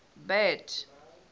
bad